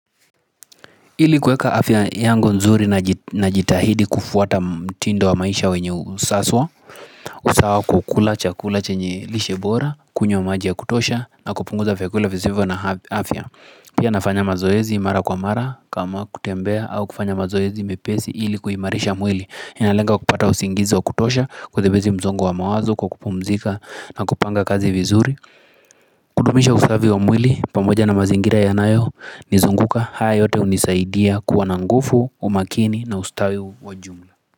Ili kuweka afya yangu nzuri najitahidi kufuata mtindo wa maisha wenye usaswa usawa kwa kula chakula chenye lishe bora, kunywa maji ya kutosha na kupunguza vyakula visivyo na afya Pia nafanya mazoezi mara kwa mara kama kutembea au kufanya mazoezi mepesi ili kuhimarisha mwili inalenga kupata usingizi wa kutosha kuthibiti mzongo wa mawazo kwa kupumzika na kupanga kazi vizuri kudumisha usafi wa mwili pamoja na mazingira yanayo nizunguka haya yote unisaidia kuwa na ngufu, umakini na ustawi wa jumla.